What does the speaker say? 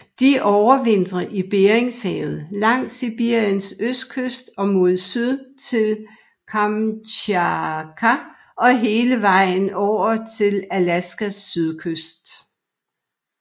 De overvintrer i Beringhavet langs Sibiriens østkyst og mod syd til Kamtjatka og hele vejen over til Alaskas sydkyst